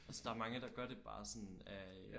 Altså der er mange der gør det bare sådan af øh